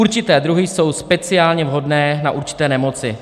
Určité druhy jsou speciálně vhodné na určité nemoci.